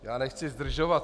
Já nechci zdržovat.